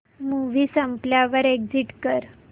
movie संपल्यावर exit कर